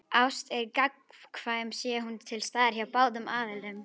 Ást er gagnkvæm sé hún til staðar hjá báðum aðilum.